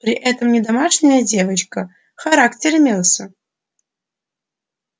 при этом не домашняя девочка характер имелся